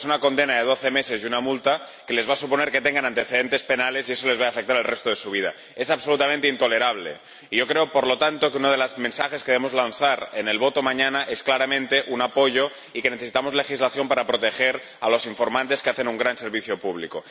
Una condena de doce meses y una multa, que les va a suponer que tengan antecedentes penales, y eso va a afectar al resto de sus vidas. Es absolutamente intolerable y yo creo, por lo tanto, que uno de los mensajes que debemos lanzar en la votación, mañana, es claramente un apoyo y que necesitamos legislación para proteger a los informantes, que hacen un gran servicio público.